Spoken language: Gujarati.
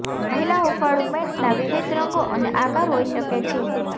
મહિલા હૂંફાળું પેન્ટના વિવિધ રંગો અને આકાર હોઈ શકે છે